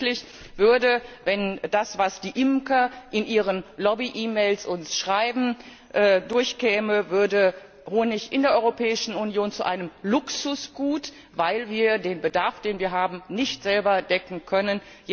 Und tatsächlich würde, wenn das, was uns die Imker in ihren Lobby E Mails schreiben, durchkäme, Honig in der Europäischen Union zu einem Luxusgut, weil wir den Bedarf, den wir haben, nicht selber decken können.